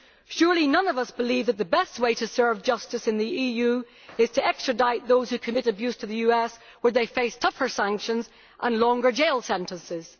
Surely none of us believes that the best way to serve justice in the EU is to extradite those who commit abuses to the US, where they face tougher sanctions and longer jail sentences?